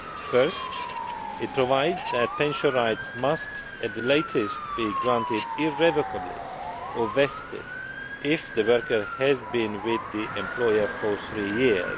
First, it provides that pension rights must, at the latest, be granted irrevocably or vested if the worker has been with the employer for three years.